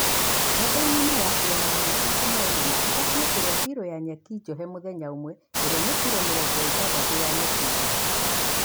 Ngombe ng'ĩma yakilo magana matatũ ma ĩnana ibatie kũrĩa bĩrũ ya nyeki njohe mũthenya ũmwe iria nĩkilo mĩrongo ĩtandatũ ya nyeki nduru.